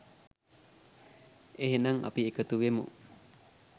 එහෙනම් අපි එකතු වෙමු